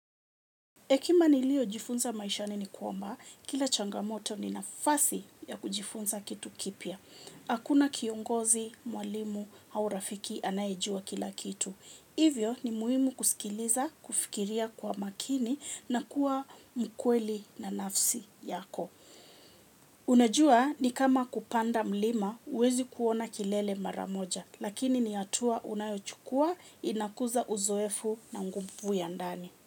Hekima nilio jifunza maishani ni kwamba, kila changamoto ni nafasi ya kujifunza kitu kipya. Hakuna kiongozi, mwalimu, au rafiki, anaejua kila kitu. Hivyo ni muhimu kusikiliza, kufikiria kwa makini na kuwa mkweli na nafsi yako. Unajua ni kama kupanda mlima, huwezi kuona kilele mara moja. Lakini ni hatua unayochukua, inakuza uzoefu na nguvu ya ndani.